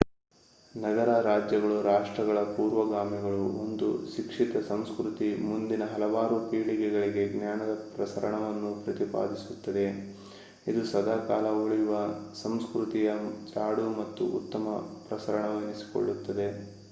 ನಗರ-ರಾಜ್ಯಗಳು ರಾಷ್ಟ್ರಗಳ ಪೂರ್ವಗಾಮಿಗಳು ಒಂದು ಶಿಕ್ಷಿತ ಸಂಸ್ಕ್ರತಿ ಮುಂದಿನ ಹಲವಾರು ಪೀಳಿಗೆಗಳಿಗೆ ಜ್ಞಾನದ ಪ್ರಸರಣವನ್ನು ಪ್ರತಿಪಾದಿಸುತ್ತದೆ ಇದು ಸದಾಕಾಲ ಉಳಿಯುವ ಸಂಸ್ಕ್ರತಿಯ ಜಾಡು ಮತ್ತು ಉತ್ತಮ ಪ್ರಸರಣವೆನಿಸಿಕೊಳ್ಳುತ್ತದೆ